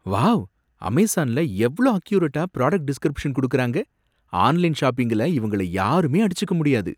Wow! அமேசான்ல எவ்ளோ அக்யுரேட்டா பிராடக்ட் டிஸ்க்ரிப்ஷன் குடுக்கறாங்க! ஆன்லைன் ஷாப்பிங்ல இவங்கள யாருமே அடிச்சுக்க முடியாது!